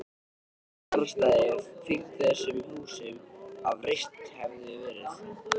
Engin garðstæði fylgdu þessum húsum, ef reist hefðu verið.